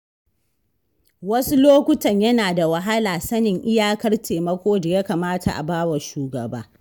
Wasu lokutan yana da wahala sanin iyakar taimako da ya kamata a ba wa shugaba.